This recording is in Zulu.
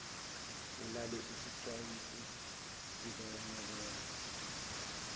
ulalele isixwayiso sikanobela